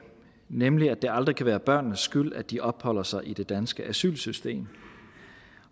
nemlig at det aldrig kan være børnenes skyld at de opholder sig i det danske asylsystem